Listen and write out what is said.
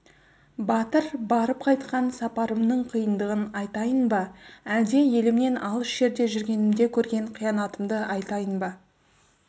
батыр барып қайтқан сапарымның қиындығын айтайын ба әлде елімнен алыс жерде жүргенімде көрген қиянатымды айтайын ба